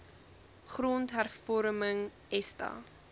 grond hervorming esta